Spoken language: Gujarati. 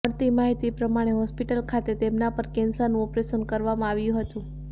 મળતી માહિતી પ્રમાણે હોસ્પિટલ ખાતે તેમના પર કેન્સરનું ઓપરેશન કરવામાં આવ્યું હતું